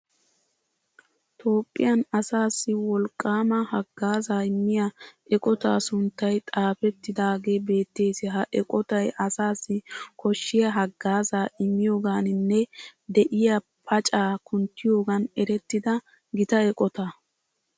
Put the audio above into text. Toophphiyan asaassi woliqqaama haggaazza immiya eqotaa sunttay xaafettidaagee beettees. Ha eqotay asaassi koshshiya haggaazzaa immiyogaaninne de'iya pacaa kunttiyogan erettida gita eqotaa.